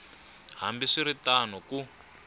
hambi swi ri tano ku